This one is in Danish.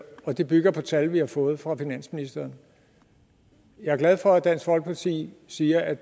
og det bygger på tal vi har fået fra finansministeren jeg er glad for at dansk folkeparti siger at